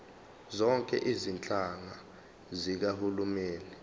zonke izinhlaka zikahulumeni